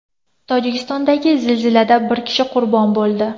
Tojikistondagi zilzilada bir kishi qurbon bo‘ldi.